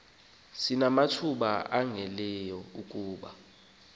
sinamathuba ongezelelekileyo kuba